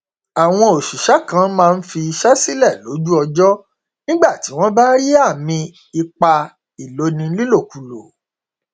àwọn òṣìṣẹ kan máa n fi iṣẹ sílẹ lójú ọjọ nígbà tí wọn bá rí àmì ipá ìloni nílòkulò